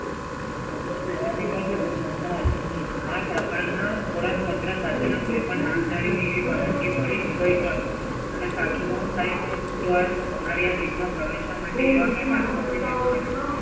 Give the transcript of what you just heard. અંદહેરો દેવાની કઈ જરુંર જ ના હતી. આ પ્રકારના થોડાક પત્ર સાથેના કોઈપણ નામદારીને એવી પરવાનગી મળી જ ગઈ હોત અને સાચું કહું સાહેબ? અમારે કઈ માં પ્રવેશવા માટે એવા કોઈ passport ની જરુંર નથી.